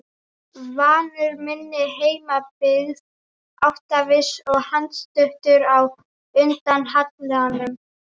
Vanur minni heimabyggð, áttaviss og andstuttur á undan hallanum.